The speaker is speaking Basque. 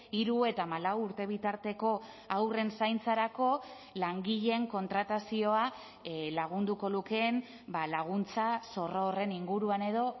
hiru eta hamalau urte bitarteko haurren zaintzarako langileen kontratazioa lagunduko lukeen laguntza zorro horren inguruan edo